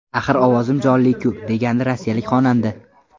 Axir ovozim jonli-ku!”, degandi rossiyalik xonanda.